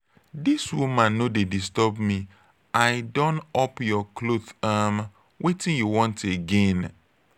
dis woman no dey disturb me i don up you cloth um wetin you want again?